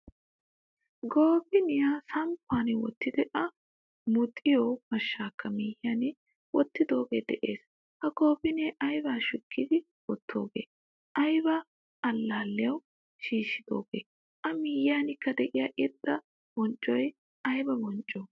Goofiniyaa samppan wottidi a muxiyo mashshakka miyiyan wottidoge de'ees. Ha goofiniyaa ayba shukkidi wottoge? Ayba allaliyawu shiishidoge? A miyiyankka deiya irxxa bonccoy ayba boncco?